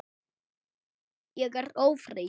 Ég er ófrísk!